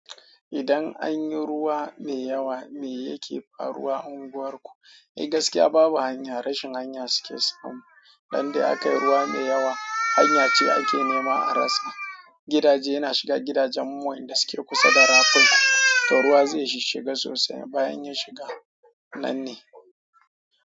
Idan an yi ruwa mai yawa ne yake faruwa unguwarku, eh gaskiya babu hanya rashin hanya suke samu. Dan da aka yi ruwa mai yawa, hanya ce ake nema a rasa. Gidaje yana shiga gidajen mu inda suke kusa da rafin, to ruwa zai shiga sosai bayan ya shiga. Nan ne.